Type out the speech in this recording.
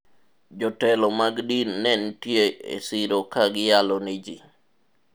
jotelo mag din ne nitie e siro ka giyalo ne ji